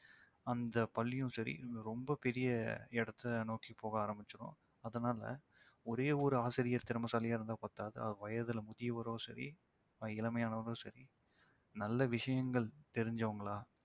அந்தப் பள்ளியும் சரி ரொம்ப பெரிய இடத்தை நோக்கி போக ஆரம்பிச்சிடும். அதனால ஒரே ஒரு ஆசிரியர் திறமைசாலியாக இருந்தா பத்தாது அவர் வயதுல முதியவரோ சரி இளமையானவரோ சரி நல்ல விஷயங்கள் தெரிஞ்சவங்களா